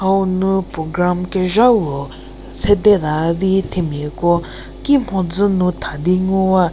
hau nu program kezha puo sede taü di themiako ki mhodzü nu tha di ngu wa.